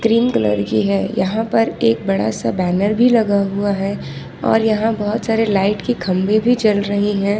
Cream colour की है यहां पर एक बड़ा सा बैनर भी लगा हुआ है और यहां बहुत सारे लाइट के खंभे भी जल रही है।